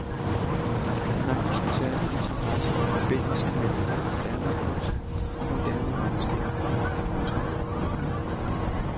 Han har vist en særlig interesse for forbindelsen mellem moderne kunst og moderne videnskab. punktum